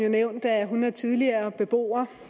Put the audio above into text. jo nævnt at hun er tidligere beboer